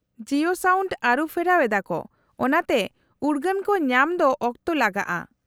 -Jio sound ᱟᱹᱨᱩᱯᱷᱮᱨᱟᱣ ᱮᱫᱟᱠᱚ ᱚᱱᱟᱛᱮ ᱩᱨᱜᱟᱹᱱ ᱠᱚ ᱧᱟᱢ ᱫᱚ ᱚᱠᱛᱚ ᱞᱟᱜᱟᱜᱼᱟ ᱾